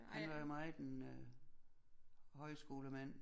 Han var jo meget en øh højskolemand